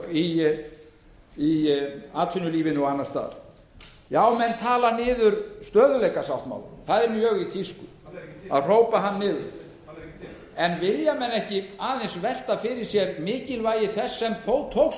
í atvinnulífinu og annars staðar já menn tala niður stöðugleikasáttmálann það er mjög í tísku hann er ekki til að hrópa hann niður hann er ekki til en vilja menn ekki aðeins velta fyrir sér mikilvægi þess sem þó tókst